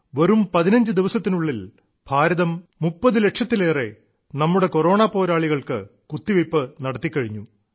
വെറും 15 ദിവസത്തിനുള്ളിൽ ഭാരതം 30 ലക്ഷത്തിലേറെ സ്വന്തം കൊറോണ പോരാളികൾക്ക് കുത്തിവെയ്പ്പു നടത്തിക്കഴിഞ്ഞു